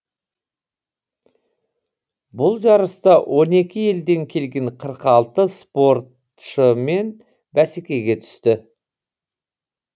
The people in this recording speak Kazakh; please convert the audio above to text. бұл жарыста он екі елден келген қырық алты спортышмен бәсекеге түсті